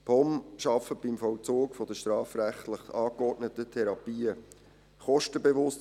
Die POM arbeitet beim Vollzug der strafrechtlich angeordneten Therapien kostenbewusst.